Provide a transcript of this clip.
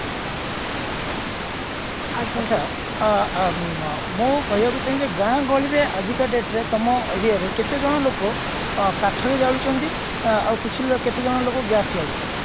ଅର୍ଥାତ ଅ ଅ ମୁଁ କହିବାକୁ ଚାହିଁ ବି ଯେ ଗାଁ ଗହଳିରେ ଆଜିକା date ରେ ତମ aria ରେ କେତେ ଜଣ ଲୋକ ଅ କାଠ ରେ ଜାଳୁ ଛନ୍ତି ଅ ଆଉ କିଛି ବା କେତେ ଜଣ ଲୋକ gas ରେ ଜାଳୁ ଛନ୍ତି